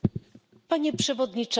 Panie Przewodniczący!